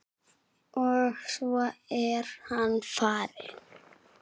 Og svo er hann farinn.